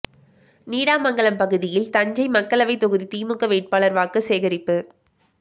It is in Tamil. நீடாமங்கலம் பகுதியில் தஞ்சை மக்களவை தொகுதி திமுக வேட்பாளர் வாக்கு சேகரிப்பு